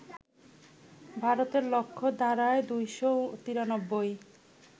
ভারতের লক্ষ্য দাঁড়ায় ২৯৩